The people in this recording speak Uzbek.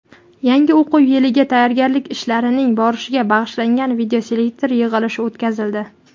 yangi o‘quv yiliga tayyorgarlik ishlarining borishiga bag‘ishlangan videoselektor yig‘ilishi o‘tkazildi.